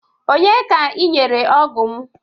Onye ka ị nyere ọgụ m?